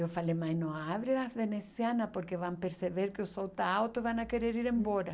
Eu falei, mas não abre as, porque vão perceber que o sol está alto e vão a querer ir embora.